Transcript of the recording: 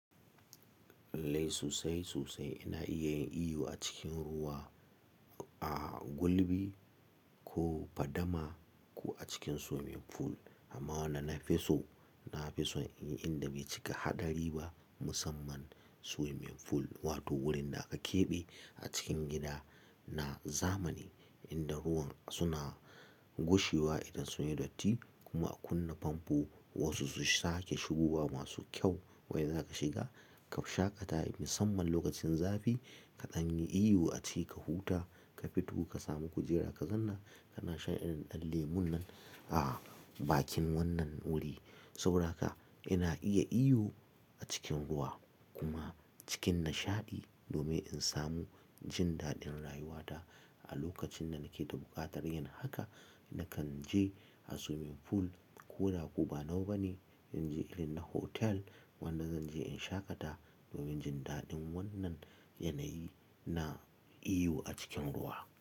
Lallai sosai sosai ina iya yin iyo a cikin ruwa, a gulbi ko fadama ko a cikin swimming pool. Amma wanda na fi so, na fi so in inda bai cika haɗari ba musamman swimming pool wato wurin da aka keɓe a cikin gida na zamani inda ruwan suna gushewa idan sunyi datti kuma akuna famfo wasu su sake shigowa masu kyau wanda zaka shiga ka shaƙata musamman lokacin zafi kaɗan yi iyo aci ka huta ka fito ka samu kujera ka zanna kana shan irin ɗan lemon nan a bakin wannan wuri. Saboda haka ina iya iyo a cikin ruwa kuma cikin nashaɗi domin in samu jindaɗin rayuwata a lokacin da nake ta buƙatar yin haka nakan je a swimming pool ko da koba nawa bane zan je ilin na hotel wanda zan je in shaƙata domin jindaɗin wannan yanayi na iyo a cikin ruwa.